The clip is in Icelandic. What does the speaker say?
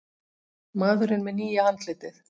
Maðurinn með nýja andlitið